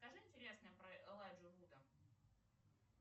скажи интересное про элайджу вуда